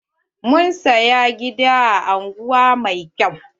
Mun saya gida a unguwan mai kyau.